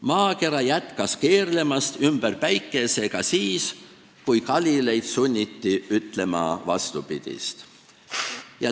Maakera jätkas keerlemist ümber Päikese ka siis, kui Galileid sunniti ütlema vastupidist.